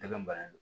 Tɛmɛn ba